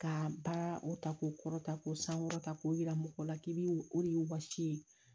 Ka ba o ta k'o kɔrɔtan k'o sankɔrɔta k'o yira mɔgɔw la k'i bi o de y'o wasi ye